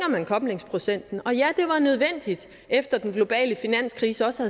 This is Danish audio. man koblingsprocenten og ja det var nødvendigt efter at den globale finanskrise også